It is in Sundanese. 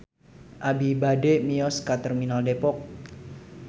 Abi bade mios ka Terminal Depok